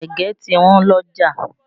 Ẹ̀gẹ́ ti Wọ́n l'ọ́jà